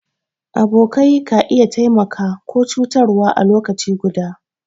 Abokai ka iya taimaka ko cutarwa a lokaci ɗaya.